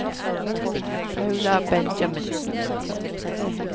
Paula Benjaminsen